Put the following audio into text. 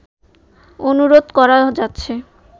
অনুরোধ করা যাচ্ছে